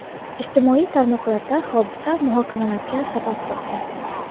Ijtimoiy tarmoqlarda hodisa muhokamalarga sabab bo‘lgan.